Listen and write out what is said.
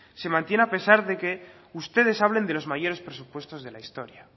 se mantiene a pesar de que ustedes hablen de los mayores presupuestos de la historia